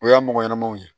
O y'a mɔgɔ ɲɛnamaw ye